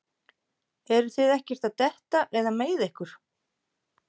Eruð þið ekkert að detta eða meiða ykkur?